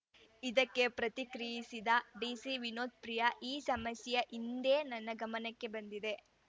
ಇದಕ್ಕೆ ಪ್ರತಿಕ್ರಿಯಿಸಿದ ಡಿಸಿ ವಿನೋತ್‌ ಪ್ರಿಯಾ ಈ ಸಮಸ್ಯೆ ಇಂದೇ ನನ್ನ ಗಮನಕ್ಕೆ ಬಂದಿದೆ